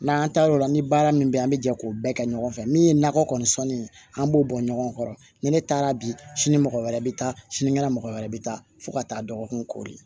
N'an taar'o la ni baara min bɛ yen an bɛ jɛ k'o bɛɛ kɛ ɲɔgɔn fɛ min ye nakɔ kɔni sɔnni an b'o bɔ ɲɔgɔn kɔrɔ ni ne taara bi sini mɔgɔ wɛrɛ bɛ taa sinikɛnɛ mɔgɔ wɛrɛ bɛ taa fo ka taa dɔgɔkun